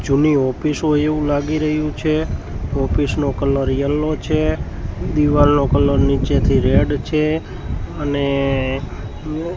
જુની ઑફિસ હોઇ એવુ લાગી રહ્યુ છે ઑફિસ નો કલર યેલો છે દીવાલનો કલર નીચેથી રેડ છે અને--